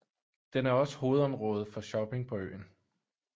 Den er også hovedområdet for shopping på øen